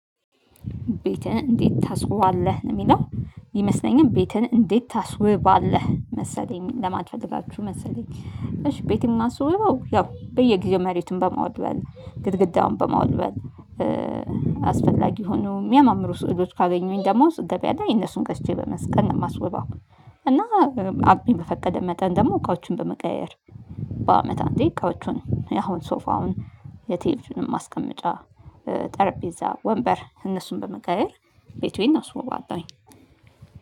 ቤትን እንዴት ታስውባለህ? የሚለው ይመስለኛል ቤትህን እንዴት ታስውባለህ? መሰለኝ ለማለት ፈልጋችሁ መሰለኝ እሺ ቤቴን የማስውበውያው በየጊዜው መሬቱን በመወልወል ግድግዳውን በመወልወል አስፈላጊ የሆኑ የሚያማምሩ ስዕሎች ካገኘሁኝ ደሞ ገበያ ላይ እነሱን ገዝቼ በመስቀል ነው የማስወበው እና አቅሜ በፈቀደ መጠን ደግሞ እቃዎቹን በመቀያየር በአመት አንዴ እቃዎቹን አሁን ሶፋውን የቲቪ ማስቀመጫ ጠረጴዛ ወንበር እነሱን በመቀያየር ቤቴን አስውባለሁኝ